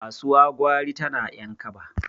kasuwa gwari tana yan kaba